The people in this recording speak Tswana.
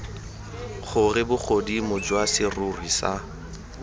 gore bogodimo jwa serori sa